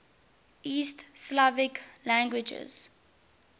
east slavic languages